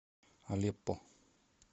алеппо